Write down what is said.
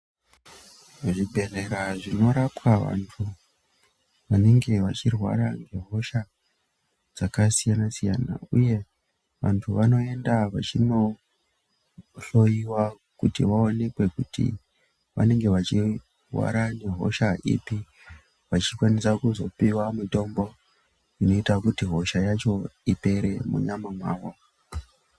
Zvibhedhlera zvinorapwa vantu vanenge vachirwara nehosha dzakasiyana siyana uye vantu vanoenda vachinohloyiwa kuti vaonekwe kuti vanenge vachirwara ngehosha ipi, vachikwanisa kuzopiwa mutombo inoita kuti hosha yacho ipere munyama mavo.